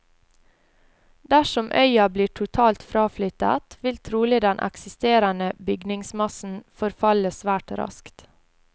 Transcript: Dersom øya blir totalt fraflyttet, vil trolig den eksisterende bygningsmassen forfalle svært raskt.